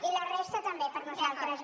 i la resta també per nosaltres